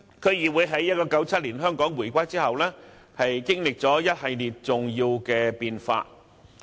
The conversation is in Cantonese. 區議會在1997年香港回歸後，經歷了一系列重要的變化。